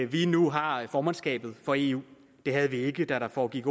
vi nu har formandskabet for eu og det havde vi ikke dengang ol foregik